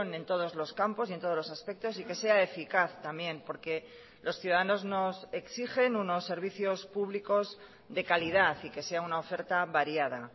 en todos los campos y en todos los aspectos y que sea eficaz también porque los ciudadanos nos exigen unos servicios públicos de calidad y que sea una oferta variada